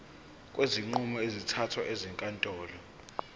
kwezinqumo ezithathwe ezinkantolo